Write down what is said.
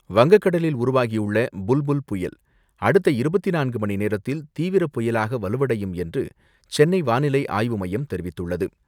வங்கக்கடலில் உருவாகியுள்ள புல் புுல் புயல் அடுத்த இருபத்தி நான்கு மணி நேரத்தில் தீவிர புயலாக வலுவடையும் என்று சென்னை வானிலை ஆய்வு மையம் தெரிவித்துள்ளது.